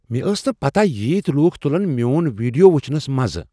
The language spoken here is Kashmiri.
مےٚ ٲس نہٕ پتاہ ییتۍ لوُكھ تٗلن میون ویڈیو وُچھنس مزٕ ۔